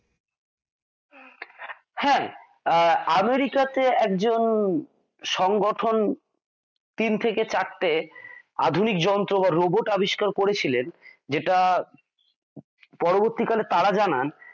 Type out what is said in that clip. হ্যা আহ আমেরিকা তে একজন সংগঠন তিন থেকে চারটে আধুনিক যন্ত্র বা রোবট আবিষ্কার করেছিলেন যেটা পরবর্তীকালে তারা জানান